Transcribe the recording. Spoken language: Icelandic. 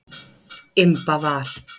Imba var.